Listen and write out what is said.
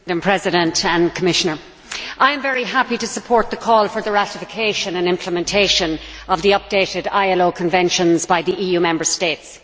Madam President, I am very happy to support the call for the ratification and implementation of the updated ILO conventions by the EU Member States.